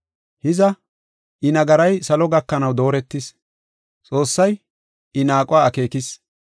Hiza, I nagaray salo gakanaw dooretis. Xoossay I naaquwa akeekis.